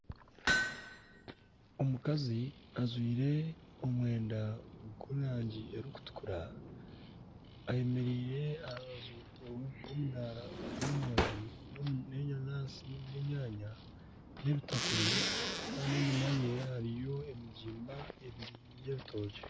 Omukazi ajwaire omwenda gw'erangi erikutukura ayemereire aharubaju rw'omudaara gw'emoondi ,n'enanansi n'enyanya ,n'ebitakuri enyumaye hariyo emigimba ebiri Y'ebitookye.